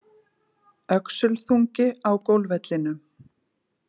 Öxulþungi á golfvellinum